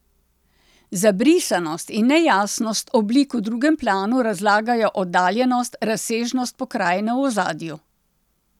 Zabrisanost in nejasnost oblik v drugem planu razlagajo oddaljenost, razsežnost pokrajine v ozadju.